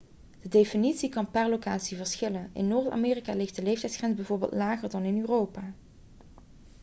de definitie kan per locatie verschillen in noord-amerika ligt de leeftijdsgrens bijvoorbeeld lager dan in europa